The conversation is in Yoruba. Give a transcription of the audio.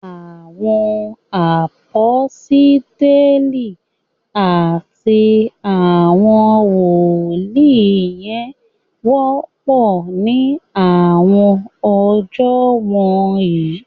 Awọn aposteli ati awọn woli jẹ wọpọ ni awọn ọjọ wọnyi